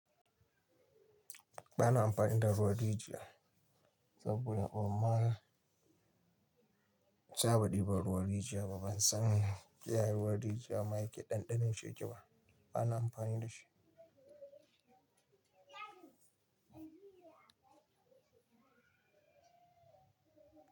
Ba na amfani da ruwan rijiya saboda ban ma saba diban ruwan rijiya ba. Ban san ya ruwan rijiya ma yake ɗanɗanon shi yake ba. Ba na amfani da shi.